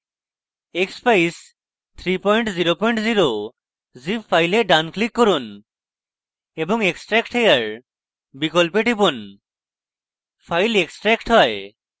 expeyes300 zip file ডান click করুন এবং extract here বিকল্পে টিপুন file extract হয়